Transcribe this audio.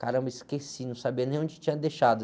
Caramba, esqueci, não sabia nem onde tinha deixado.